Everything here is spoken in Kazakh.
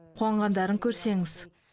қуанғандарын көрсеңіз